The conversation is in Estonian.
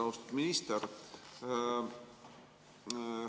Austatud minister!